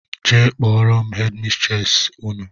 Jee kpọrọ m headi mistresi Ụnụ!!!